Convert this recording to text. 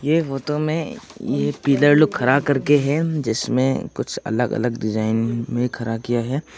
ऐ photo में ये pillar लोग खड़ा कर के है जिसमे कुछ अलग-अलग डिजाइन में खड़ा किया है।